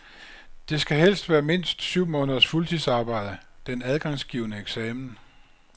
Det skal helst være mindst syv måneders fuldtidsarbejde den adgangsgivende eksamen.